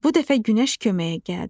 Bu dəfə Günəş köməyə gəldi.